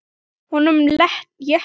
Honum létti.